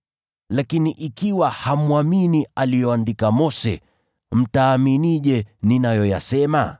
Lakini ikiwa hamwamini aliyoandika Mose, mtaaminije ninayoyasema?”